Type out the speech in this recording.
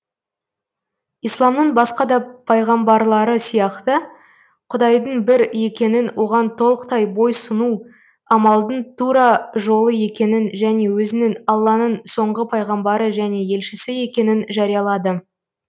исламның басқа да пайғамбарлары сияқты құдайдың бір екенін оған толықтай бойсұну амалдың тура жолы екенін және өзінің алланың соңғы пайғамбары және елшісі екенін жариялады